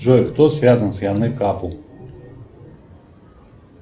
джой кто связан с яной капул